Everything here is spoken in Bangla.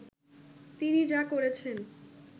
তিনি যা করেছেন